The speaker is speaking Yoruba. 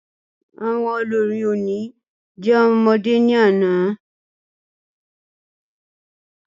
Àwọn olórí oní jẹ́ ọmọdé ní àná